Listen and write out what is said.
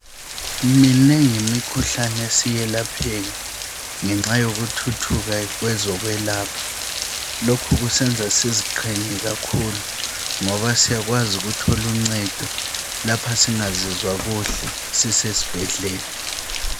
Minengi imikhuhlane esiyelapheka ngenxa yokuthuthuka kwezokwelapha. Lokhu kusenza siziqhenye kakhulu ngoba siyakwazi ukutholuncedo lapha singazizwa kuhle sisesibhedlela.